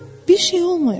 Bir şey olmayıb.